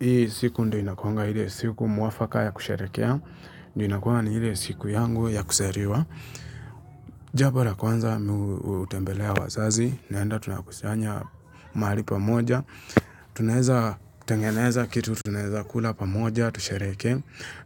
Hii siku ndo inakonga hile siku mwafaka ya kusherekea. Ndiyo inakuanga ni hile siku yangu ya kusariwa. Jabo ra kwanza utembelea wazazi. Naenda tunakusanya mahali pamoja. Tunaeza tengeneza kitu. Tunaeza kula pamoja. Tushareke.